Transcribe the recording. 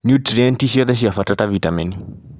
niutrienti ciothe cia bata ta vitameni.